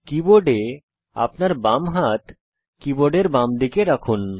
কীবোর্ডে আপনার বাম হাত কীবোর্ডের বামদিকে রাখুন